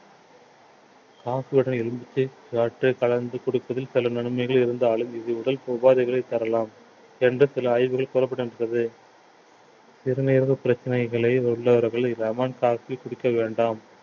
coffee யோட எலுமிச்சை சாற்றை கலந்து குடிப்பதில் சில நன்மைகள் இருந்தாலும் இது உடல் உபாதைகளை தரலாம் என்று சில ஆய்வுகள் கூறப்பட்டிருக்கிறது சிறுநீரக பிரச்சனைகளை உள்ளவர்கள் lemon coffee குடிக்க வேண்டாம்